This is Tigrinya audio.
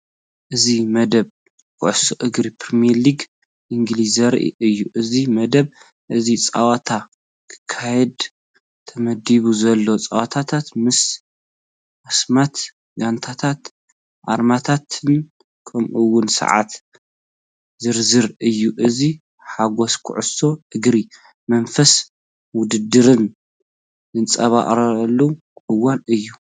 እዚ መደብ ኩዕሶ እግሪ ፕሪምየር ሊግ እንግሊዝ ዘርኢ እዩ። እዚ መደብ እዚ ፀወታ ክካየድ ተመዲቡ ዘሎ ጸወታታት፡ ምስ ኣስማት ጋንታታትን ኣርማታትን ከምኡ’ውን ሰዓት ዝዝርዝር እዩ። እዚ ሓጎስ ኩዕሶ እግሪን መንፈስ ውድድርን ዝንጸባረቐሉ እዋን እዩ።